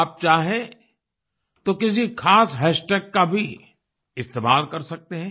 आप चाहें तो किसी खास हैशटैग का भी इस्तेमाल कर सकते हैं